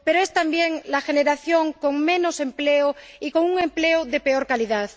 Pero, es también la generación con menos empleo y con un empleo de peor calidad.